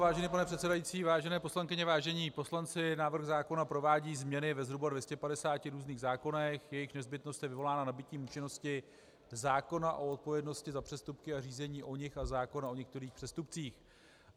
Vážený pane předsedající, vážené poslankyně, vážení poslanci, návrh zákona provádí změny ve zhruba 250 různých zákonech, jejichž nezbytnost je vyvolána nabytím účinnosti zákona o odpovědnosti za přestupky a řízení o nich a zákona o některých přestupcích.